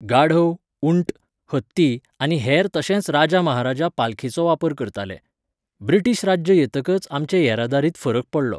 गाढव, ऊंट, हत्ती आनी हेर तशेंच राजा महाराजा पालखेचो वापर करताले. ब्रिटिश राज्य येतकच आमचे येरादारींत फरक पडलो